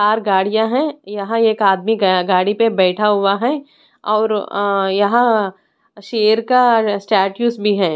बाहर गाड़ियां हैं यहां एक आदमी गाड़ी पे बैठा हुआ हैं और यहां शेर का स्टैटूस भी हैं।